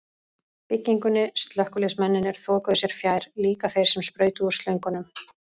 byggingunni, slökkviliðsmennirnir þokuðu sér fjær, líka þeir sem sprautuðu úr slöngunum.